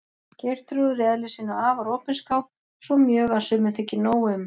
Geirþrúður í eðli sínu afar opinská, svo mjög að sumum þykir nóg um.